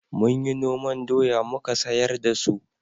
Mun yi noman doya muka sayar da su